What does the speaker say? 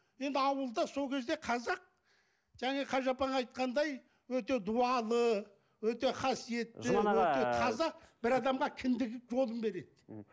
енді ауылда сол кезде қазақ және қажы апаң айтқандай өте дуалы өте қасиетті қазақ бір адамға кіндік жолын береді м